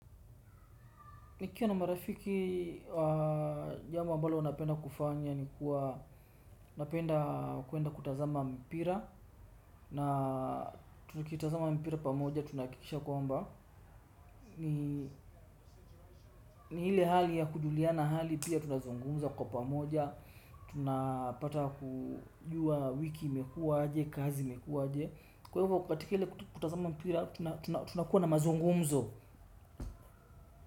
Nikiwa na marafiki jambo ambalo napenda kufanya ni kuwa, napenda kuenda kutazama mpira na tukitazama mpira pamoja tunaakikisha kwa mba ni ile hali ya kujuliana hali pia tunazungumza kwa pamoja, tunapata kujua wiki imekuwa aje kazi imekuwa aje kwa ivo katika ile kutazama mpira tunakuwa na mazungumzo.